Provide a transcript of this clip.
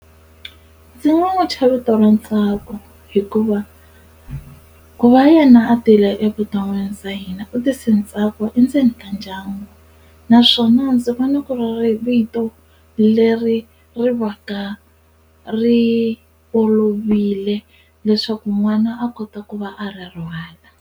Ndzi nga n'wi thya vito ra Ntsako hikuva ku va yena a tile evuton'wini bya hina u tise ntsako endzeni ka ndyangu naswona ndzi vona ku ri vito leri ri va ka ri olovile leswaku n'wana a kota ku va a ri .